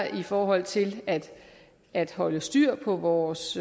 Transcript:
i forhold til at holde styr på vores